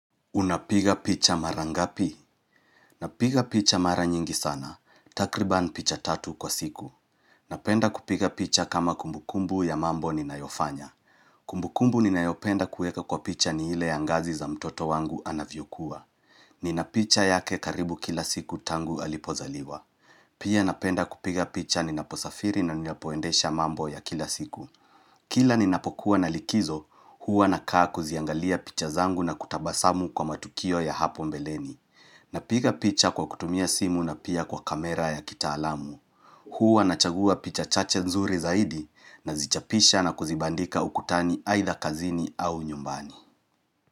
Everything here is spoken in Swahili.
Unapiga picha mara ngapi? Napiga picha mara nyingi sana. Takriban picha tatu kwa siku. Napenda kupiga picha kama kumbukumbu ya mambo ninayofanya. Kumbukumbu ninayopenda kuweka kwa picha ni ile ya ngazi za mtoto wangu anavyokua. Ninapicha yake karibu kila siku tangu alipozaliwa. Pia napenda kupiga picha ninaposafiri na ninapoendesha mambo ya kila siku. Kila ni napokuwa na likizo, huwa nakaa kuziangalia picha zangu na kutabasamu kwa matukio ya hapo mbeleni. Napiga picha kwa kutumia simu na pia kwa kamera ya kitaalamu. Huwa nachagua picha chache nzuri zaidi nazichapisha na kuzibandika ukutani aitha kazini au nyumbani.